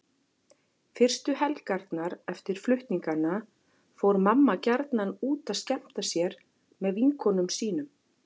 Fyrstu helgarnar eftir flutningana fór mamma gjarnan út að skemmta sér með vinkonum sínum.